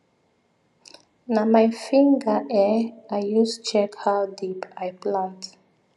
na my finger um i use check how deep i plant